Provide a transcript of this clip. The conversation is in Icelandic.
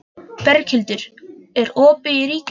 Berghildur, er opið í Ríkinu?